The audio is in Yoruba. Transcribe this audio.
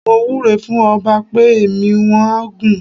Mo wúre fún ọba pé ẹ̀mí wọ́n á gún.